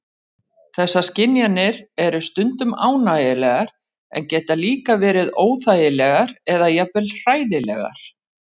Þessar skynjanir eru stundum ánægjulegar en geta líka verið óþægilegar eða jafnvel hræðilegar.